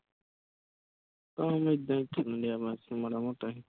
ਕੰਮ ਏਦਾਂ ਹੀ ਚੱਲਣਡਿਆ ਬਸ ਮਾੜਾ ਮੋਟਾ ਹੀ